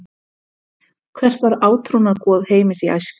Hvert var átrúnaðargoð Heimis í æsku?